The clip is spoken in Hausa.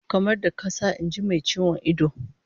Kamar da kasa, in ji mai ciwon ido